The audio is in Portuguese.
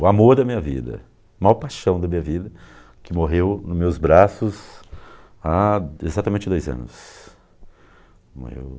O amor da minha vida, a maior paixão da minha vida, que morreu nos meus braços há exatamente dois anos. Morreu